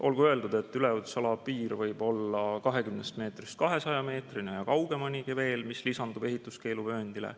Olgu öeldud, et üleujutusala piir võib olla 20 meetrist 200 meetrini ja kaugemalegi veel, mis lisandub ehituskeeluvööndile.